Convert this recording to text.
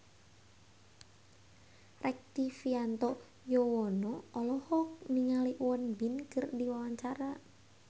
Rektivianto Yoewono olohok ningali Won Bin keur diwawancara